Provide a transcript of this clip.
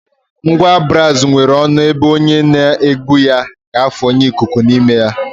Ngwa braazụ nwere ọnụ ebe onye n'egbu ya ga-afụnye ikuku n'ime